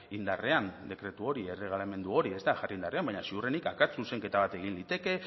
indarrean dekretu hori erregelamendu hori ez da jarri indarrean baina seguruenik akats zuzenketa bat egin liteke